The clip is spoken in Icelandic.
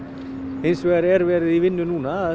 hins vegar erum verið í vinnu núna